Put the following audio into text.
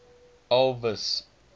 elvis